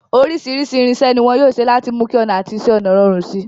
Oríṣìíríṣìí irinṣẹ́ ni wọn yóò ṣe láti mú kí ọnà àti iṣẹ́ ọnà rọrùn si.